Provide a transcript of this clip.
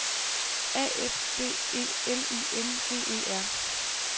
A F D E L I N G E R